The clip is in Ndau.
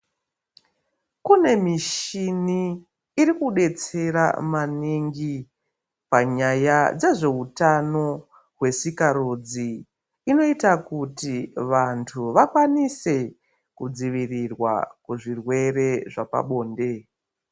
Kune michini iri kudetsera maningi panyaya dzezveutano hwesikarudzi inoita kuti vantu vakwanise kudzivirirwa kuzvirwere zvepabonde.